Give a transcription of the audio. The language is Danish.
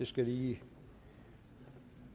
skal lige